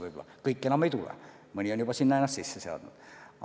Võib-olla kõik enam ei tule, mõni on juba ennast välismaal sisse seadnud.